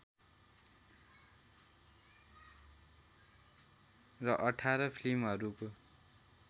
र १८ फिल्महरूको